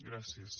gràcies